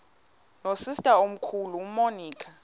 nosister omkhulu umonica